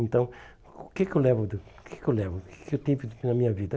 Então, o que que eu levo da o que que eu levo que eu tenho na minha vida?